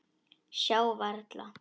Sjá varla.